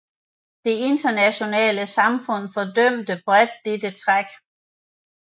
Det internationale samfund fordømte bredt dette træk